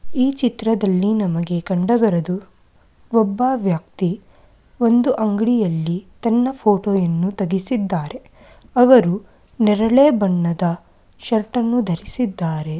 ಈ ಚಿತ್ರದಲ್ಲಿ ನಮಗೆ ಕಂಡುಬರುವುದು ಒಬ್ಬ ವ್ಯಕ್ತಿ ಒಂದು ಅಂಗಡಿಯಲ್ಲಿ ತನ್ನ ಫೋಟೋವನ್ನು ತೆಗೆಸಿದ್ದಾರೆ ಅವರು ನೇರಳೆ ಬಣ್ಣದ ಶರ್ಟ್ ಅನ್ನು ಧರಿಸಿದ್ದಾರೆ.